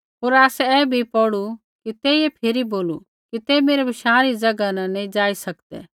होर आसै ऐ बी पौढ़ू कि तेइयै फिरी बोलू कि तै मेरै बशाँ री ज़ैगा न नैंई जाई सकदै